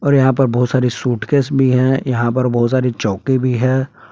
और यहां पर बहुत सारी सूटकेस भी है यहां पर बहुत सारी चौकी भी है।